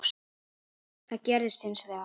Það gerðist hins vegar.